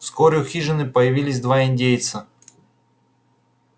вскоре у хижины появились два индейца